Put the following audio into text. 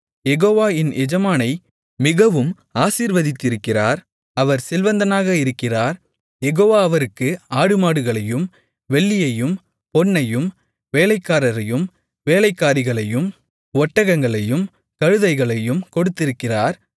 யெகோவா என் எஜமானை மிகவும் ஆசீர்வதித்திருக்கிறார் அவர் செல்வந்தனாக இருக்கிறார் யெகோவா அவருக்கு ஆடுமாடுகளையும் வெள்ளியையும் பொன்னையும் வேலைக்காரரையும் வேலைக்காரிகளையும் ஒட்டகங்களையும் கழுதைகளையும் கொடுத்திருக்கிறார்